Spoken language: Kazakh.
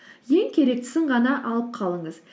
ең керектісін ғана алып қалыңыз